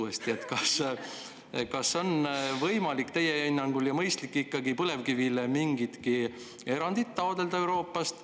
Kas teie hinnangul on võimalik ja mõistlik põlevkivile Euroopast ikkagi mingit erandit taotleda?